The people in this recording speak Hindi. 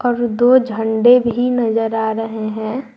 दो झंडा भी नजर आ रहे हैं।